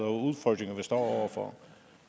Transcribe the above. og udfordringer vi står over for